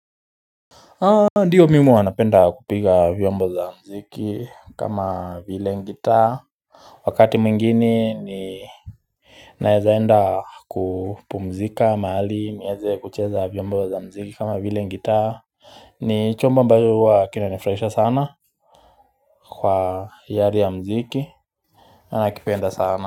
Ndiyo mimi huwa napenda kupiga vyombo za muziki kama vile gitaa wakati mwingine ni naeza enda kupumzika mahali nieze kucheza vyombo za muziki kama vile gitaa ni chombo ambayo huwa kinanifurahisha sana kwa hiari ya muziki ana kipenda sana.